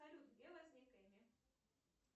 салют где возник эмми